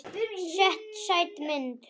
Sæt mynd.